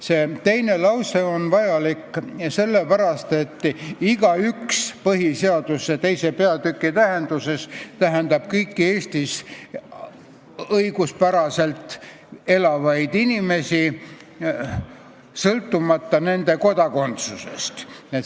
See teine lause on vajalik sellepärast, et "igaüks" põhiseaduse II. peatüki tähenduses tähendab kõiki Eestis õiguspäraselt elavaid inimesi sõltumata nende kodakondsusest.